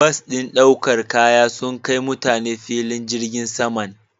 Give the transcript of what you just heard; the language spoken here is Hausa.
Bas ɗin ɗaukar kaya sun kai mutane filin jirgin saman.